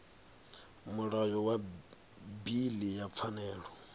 mulayo wa bili ya pfanelo